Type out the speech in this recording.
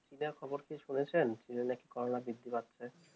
চীনের খবর কি শুনেছেন যে নাকি করোনা বৃদ্ধি পাচ্ছে